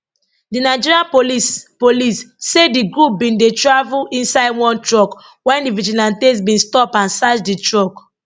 di nigeria police police say di group bin dey travel inside one truck wen di vigilantes bin stop and search di truck